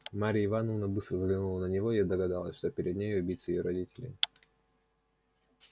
марья ивановна быстро взглянула на него и догадалась что перед нею убийца её родителей